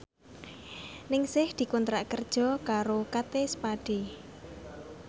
Ningsih dikontrak kerja karo Kate Spade